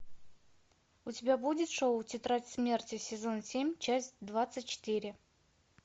у тебя будет шоу тетрадь смерти сезон семь часть двадцать четыре